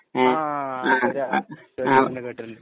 ആ ശരിയ കേട്ടിട്ടുണ്ട് കേട്ടിട്ടുണ്ട്